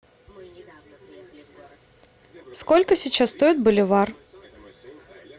сколько сейчас стоит боливар